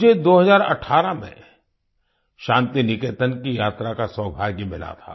मुझे 2018 में शान्तिनिकेतन की यात्रा का सौभाग्य मिला था